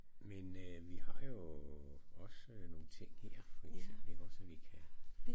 Men øh vi har jo også nogle ting her for eksempel ikke også vi kan